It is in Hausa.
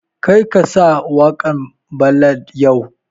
Kar ka sa waƙan ballad yau!